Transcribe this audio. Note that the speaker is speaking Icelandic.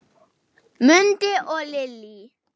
Mundi og Lillý.